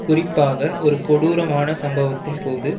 குறிப்பாக ஒரு கொடூரமான சம்பவத்தின்போது